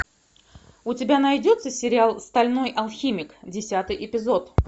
у тебя найдется сериал стальной алхимик десятый эпизод